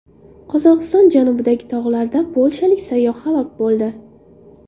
Qozog‘iston janubidagi tog‘larda polshalik sayyoh halok bo‘ldi.